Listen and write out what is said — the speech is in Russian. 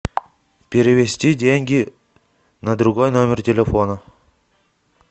перевести деньги на другой номер телефона